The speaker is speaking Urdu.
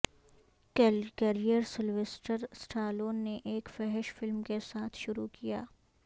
کیریئر سلویسٹر اسٹالون نے ایک فحش فلم کے ساتھ شروع کیا